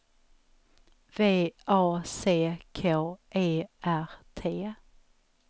V A C K E R T